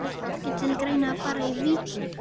Stundum er bæði um þrengsli og leka að ræða.